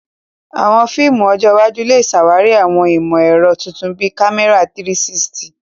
Àwọn fíìmù ọjọ́ iwájú lè ṣàwárí àwọn ìmọ̀ ẹ̀rọ tuntun bíi kámẹ́rà 360.